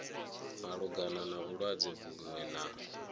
malugana na vhulwadze vhuṅwe na